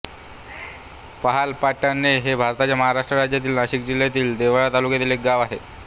महालपाटणे हे भारताच्या महाराष्ट्र राज्यातील नाशिक जिल्ह्यातील देवळा तालुक्यातील एक गाव आहे